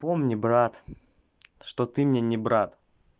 помни брат что ты мне не брат